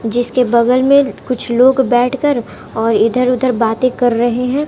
जिसके बगल में कुछ लोग बैठकर और इधर उधर बातें कर रहे हैं।